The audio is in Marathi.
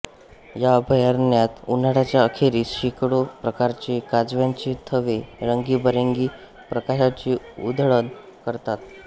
या अभयारण्यात उन्हाळ्याच्या अखेरीस शेकडो प्रकारचे काजव्यांचे थवे रंगीबेरंगी प्रकाशाची उधळण करतात